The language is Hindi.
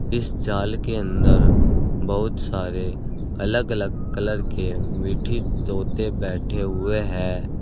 इस जाल के अंदर बहुत सारे अलग अलग कलर के मिठी तोते बैठे हुए है।